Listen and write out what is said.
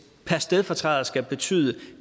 per stedfortræder skal betyde